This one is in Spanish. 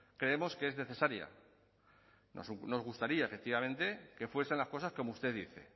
creemos que es necesaria nos gustaría efectivamente que fuesen las cosas como usted dice